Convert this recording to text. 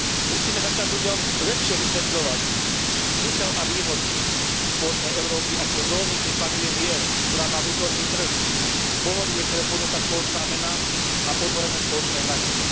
Musíme začať ľuďom lepšie vysvetľovať zmysel a výhody spoločnej Európy ako zóny, kde panuje mier, ktorá má vnútorný trh, pohodlie, ktoré ponúka spoločná mena a otvorené spoločné hranice.